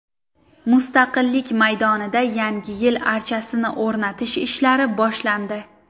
Mustaqillik maydonida Yangi yil archasini o‘rnatish ishlari boshlandi .